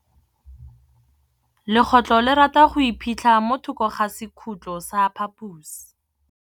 Legôtlô le rata go iphitlha mo thokô ga sekhutlo sa phaposi.